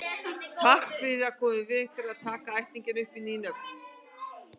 Til þess að koma í veg fyrir það taka ættingjarnir upp ný nöfn.